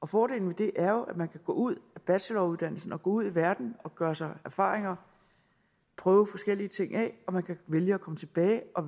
fordelen ved det er jo at man kan gå ud af bacheloruddannelsen gå ud i verden og gøre sig erfaringer prøve forskellige ting af og at man kan vælge at komme tilbage og